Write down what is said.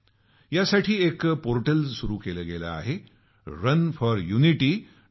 यासाठी एक पोर्टल सुरू केलं आहे runforunity